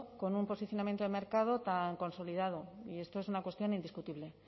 con un posicionamiento de mercado tan consolidado y esto es una cuestión indiscutible